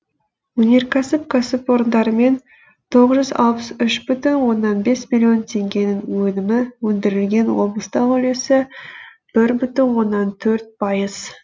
өнеркәсіп кәсіпорындарымен тоғыз жүз алпыс үш бүтін оннан бес миллион теңгенің өнімі өндірілген облыстағы үлесі бір бүтін оннан төрт пайыз